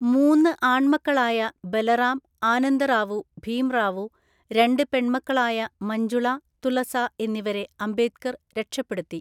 മൂന്ന് ആൺമക്കളായ ബലറാം, ആനന്ദറാവു, ഭീംറാവു, രണ്ട് പെൺമക്കളായ മഞ്ജുള, തുളസ എന്നിവരെ അംബേദ്കർ രക്ഷപ്പെടുത്തി.